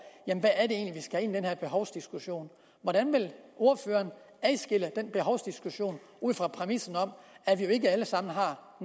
hvad her behovsdiskussion hvordan vil ordføreren skelne den behovsdiskussion ud fra præmissen om at vi jo ikke alle sammen har